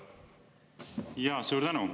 Suur tänu!